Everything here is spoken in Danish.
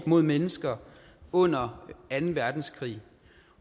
mod mennesker under anden verdenskrig